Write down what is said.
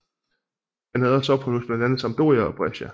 Han havde også ophold hos blandt andet Sampdoria og Brescia